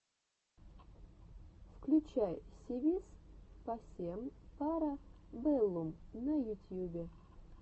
включай си вис пасем пара бэллум на ютьюбе